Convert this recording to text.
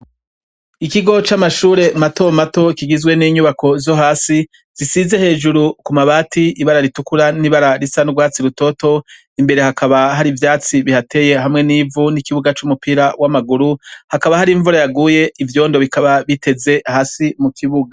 Ikigo camashure mato mato kigizwe ninyubako zohasi zisize hejuru kumabati ibara ritukura nibara risa nurwatsi rutoto imbere hakaba hari ivyatsi bihateye hamwe nivu nikibuga cumupira wamaguru hakaba hari imvura yaguye ivyondo bikaba biteze hasi mukibuga